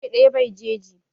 Icce ɗaya bai jeji